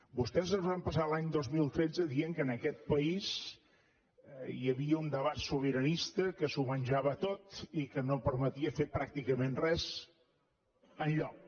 vostès es van passar l’any dos mil tretze dient que en aquest país hi havia un debat sobiranista que s’ho menjava tot i que no permetia fer pràcticament res enlloc